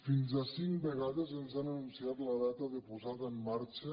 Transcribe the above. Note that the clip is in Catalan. fins a cinc vegades ens han anunciat la data de posada en marxa